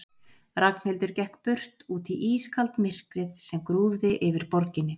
Ragnhildur gekk burt, út í ískalt myrkrið sem grúfði yfir borginni.